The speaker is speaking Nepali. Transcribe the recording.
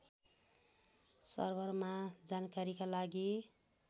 सर्भरमा जानकारीका लागि